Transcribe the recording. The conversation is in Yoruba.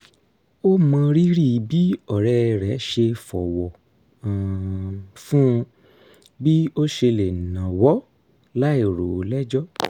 ó mọrírì bí ọ̀rẹ́ rẹ̀ ṣe fọ̀wọ̀ um fún bí ó ṣe lè náwọ́ láì rò ó lẹ́jọ́